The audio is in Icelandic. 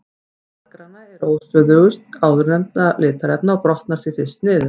Blaðgræna er óstöðugust áðurnefndra litarefna og brotnar því fyrst niður.